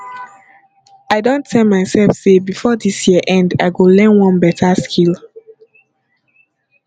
i don tell mysef sey before dis year end i go learn one beta skill